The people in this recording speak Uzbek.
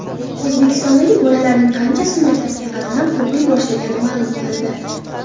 O‘zbekistondagi bolalarning qanchasi maktabga qatnab o‘qiy boshlagani ma’lum qilindi.